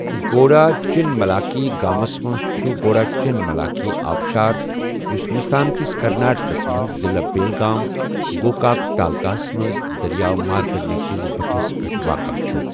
گوڈاچِنملاکی گامس منز چُھ گوڈاچِنملاکی آبشار یُس ہِنٛدُستانکِس کرناٹکَس مَنٛزضِلعہ بیلگام، گوکاک تالٗکاہس منز دٔریاو مارکنٛڈے كِس بٹھِس پیٹھ واقع چھُ۔